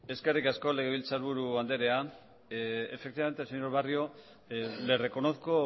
eskerrik asko legebiltzarburu anderea efectivamente señor barrio le reconozco